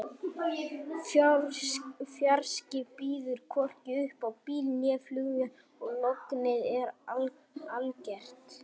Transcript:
Fjarskinn býður hvorki upp á bíl né flugvél og lognið er algert.